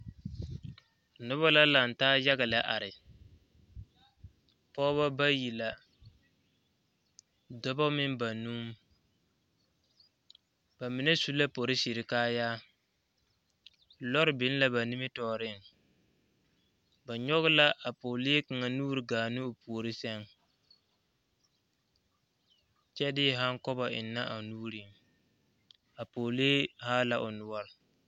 Noba la laŋe taa yaga lɛ are, pɔgeba bayi la dɔba meŋ banuu ba mine su la polisiri kaayaa lɔre biŋ la ba nimitɔreŋ, ba nyɔge la a pɛgele kaŋa. nuuri gaa ne o puori seŋ, kyɛ de handkobo enne a o nuurieŋ a pɛgele haa la noɔre.